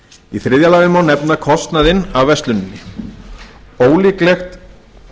í þriðja lagi má nefna kostnaðinn af versluninni ólíklegt